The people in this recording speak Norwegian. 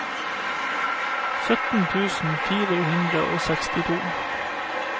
sytten tusen fire hundre og sekstito